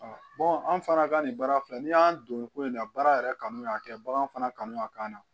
anw fana ka nin baara filɛ nin y'an don nin ko in na baara yɛrɛ kanu y'a kɛ bagan fana kanu a kana